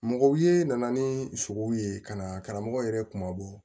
Mɔgɔw ye na ni sogow ye ka na karamɔgɔw yɛrɛ kuma bɔ